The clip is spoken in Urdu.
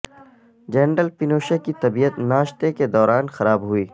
جنرل پینوشے کی طبیعت ناشتے کے دوران خراب ہوئی